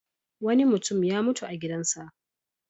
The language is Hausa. Wani mutum ya mutu a gidansa.